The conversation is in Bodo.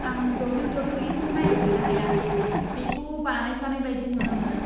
आं डब्ल्यू.डब्ल्यू.ई.खौ नायबाय थानो हाया। बेखौ बानायफ्लानाय बायदि नुनो मोनो।